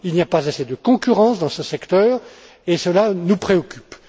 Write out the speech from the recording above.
Il n'y a pas assez de concurrence dans ce secteur, et cela nous préoccupe.